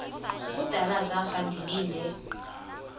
kudala zafa ndilinde